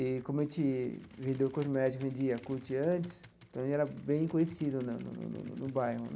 E, como a gente vendeu cosméticos e vendia Yakult antes, também era bem conhecido né no no no bairro.